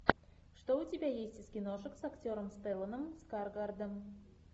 что у тебя есть из киношек с актером стелланом скарсгардом